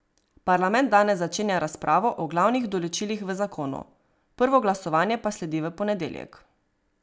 Parlament danes začenja razpravo o glavnih določilih v zakonu, prvo glasovanje pa sledi v ponedeljek.